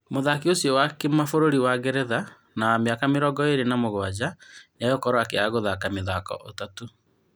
Mũthaki ũcio wa kĩmabũrũri wa Ngeretha wa mĩaka mĩrongo ĩrĩ na mũgwanja nĩ egũkorwo akĩaga gũthaka mĩthaki ĩtatũ.